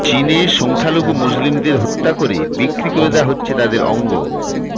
চীনে সংখ্যালঘু মুসলিমদের হত্যা করে বিক্রি করে দেওয়া হচ্ছে তাদের অঙ্গ